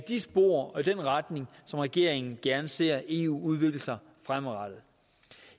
de spor og i den retning som regeringen gerne ser eu udvikle sig i fremadrettet